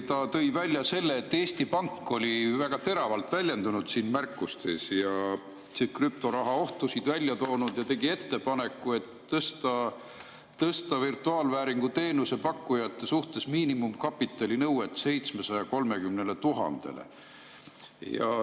Ta tõi välja selle, et Eesti Pank oli märkustes väga teravalt väljendunud, krüptoraha ohtusid välja toonud, ja tegi ettepaneku, et tõsta virtuaalvääringu teenuse pakkujate suhtes miinimumkapitalinõue 730 000‑le.